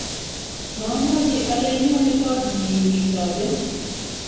mamwochi ale inyoni koot nyin itoben